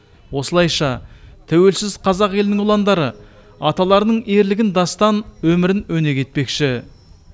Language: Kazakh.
осылайша тәуелсіз қазақ елінің ұландары аталарының ерлігін дастан өмірін өнеге етпекші